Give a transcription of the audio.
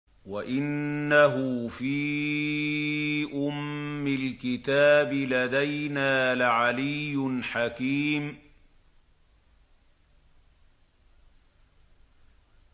وَإِنَّهُ فِي أُمِّ الْكِتَابِ لَدَيْنَا لَعَلِيٌّ حَكِيمٌ